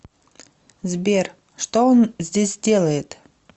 сбер что он здесь делает